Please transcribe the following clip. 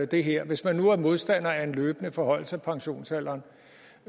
det her hvis man nu er modstander af en løbende forhøjelse af pensionsalderen